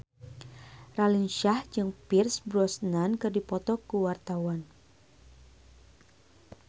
Raline Shah jeung Pierce Brosnan keur dipoto ku wartawan